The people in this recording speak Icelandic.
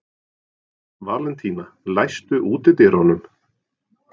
Valentína, læstu útidyrunum.